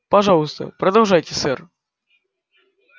пожалуйста продолжайте сэр